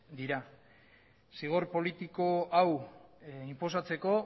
dira zigor politiko hau inposatzeko